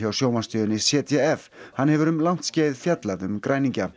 sjónvarpsstöðinni z d f hann hefur um langt skeið fjallað um græningja